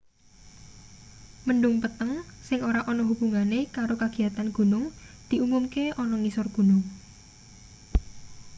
mendhung peteng sing ora ana hubungane karo kagiyatan gunung diumumke ana ngisor gunung